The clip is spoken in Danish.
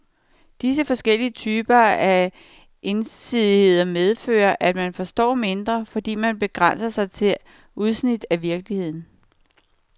Disse forskellige typer af ensidighed medfører, at man forstår mindre, fordi man begrænser sig til udsnit af virkeligheden.